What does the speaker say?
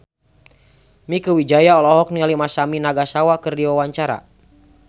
Mieke Wijaya olohok ningali Masami Nagasawa keur diwawancara